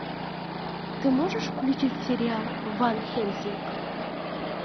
ты можешь включить сериал ван хельсинг